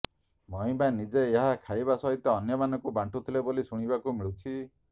ମହିମା ନିଜେ ଏହା ଖାଇବା ସହିତ ଅନ୍ୟମାନଙ୍କୁ ବାଣ୍ଟୁଥିଲେ ବୋଲି ଶୁଣିବାକୁ ମିଳୁଛି